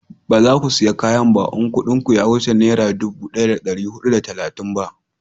ba za ku saya kayan ba in kudin ya wuce nera dubu daya da dari hudu da talatin ba